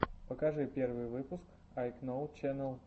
покажи первый выпуск айкноу ченэл